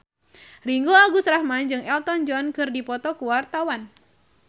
Ringgo Agus Rahman jeung Elton John keur dipoto ku wartawan